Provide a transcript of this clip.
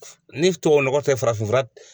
Ni tubabunɔgɔ tɛ farafinfura